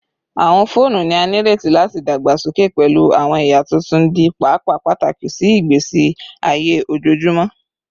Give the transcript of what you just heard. Awọn foonu ni a nireti lati dagbasoke pẹlu awọn ẹya tuntun, di paapaa pataki si igbesi aye ojoojumọ